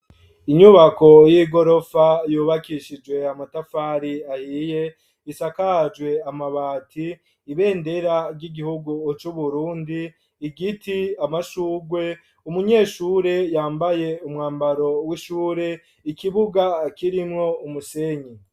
Inyubako y'igorofa yubakishijwe amatafari ahiye isakajwe amabati ibendera ry'igihugu c'uburundi igiti, amashugwe, umunyeshure yambaye umwambaro w'ishure ikibuga kirimwo umusenyi.